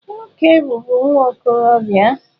Nwoke bụbu nwa okorobịa.